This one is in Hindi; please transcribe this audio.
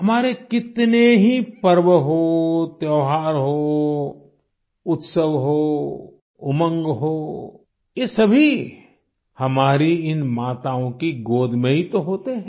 हमारे कितने ही पर्व हो त्यौहार हो उत्सव हो उमंग हो ये सभी हमारी इन माताओं की गोद में ही तो होते हैं